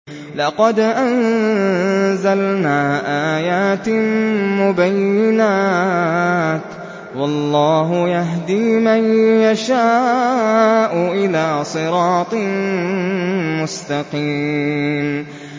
لَّقَدْ أَنزَلْنَا آيَاتٍ مُّبَيِّنَاتٍ ۚ وَاللَّهُ يَهْدِي مَن يَشَاءُ إِلَىٰ صِرَاطٍ مُّسْتَقِيمٍ